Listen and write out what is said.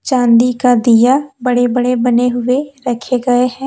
चांदी का दिया बड़े बड़े बने हुए रखे गए है।